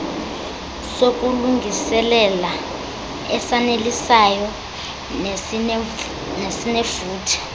sokulungiselela esanelisayo nesinefuthe